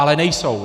Ale nejsou.